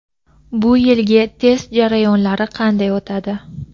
Bu yilgi test jarayonlari qanday o‘tadi?.